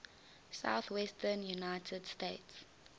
southwestern united states